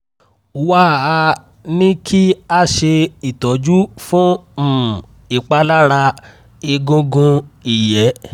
wá a ní kí a ṣe ìtọ́jú fún um ìpalára egungun ìyẹ́